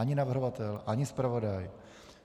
Ani navrhovatel, ani zpravodaj.